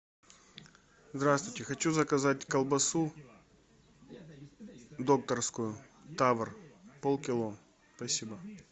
здравствуйте хочу заказать колбасу докторскую тавр пол кило спасибо